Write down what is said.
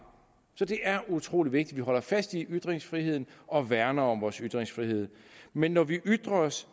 så det er utrolig vigtigt at vi holder fast i ytringsfriheden og værner om vores ytringsfrihed men når vi ytrer os